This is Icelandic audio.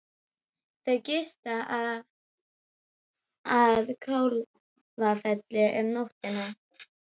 Þau gista að Kálfafelli um nóttina.